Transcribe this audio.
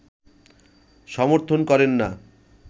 সমর্থন করেন না